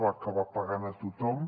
va acabar pagant a tothom